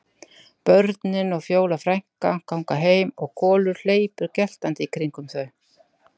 Börnin og Fjóla frænka ganga heim og Kolur hleypur geltandi í kringum þau.